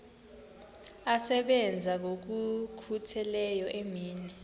asebenza ngokokhutheleyo imini